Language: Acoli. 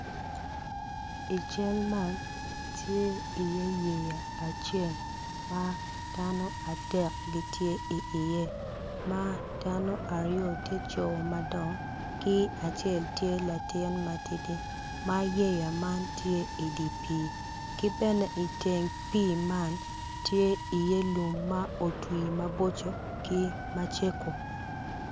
I cal man tye i ye yeya acel ma dano adek gitye i ye ma dano aryo tye jo madongo ki acel tye latin matidi ma yeya man tye idi pi ki bene i teng pi man tye i ye lum ma otwi maboco ki macego.